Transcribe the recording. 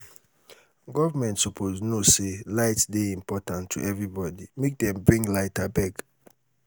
government suppose know sey light dey important to everybodi make dem bring light abeg.